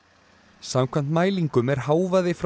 samkvæmt mælingum er hávaði frá